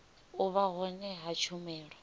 u vha hone ha tshumelo